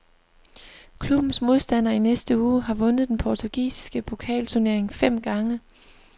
Klubbens modstander i næste uge har vundet den portugisiske pokalturnering fem gange.